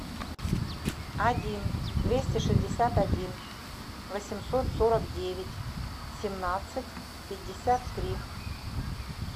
один двести шестьдесят один восемьсот сорок девять семнадцать пятьдесят три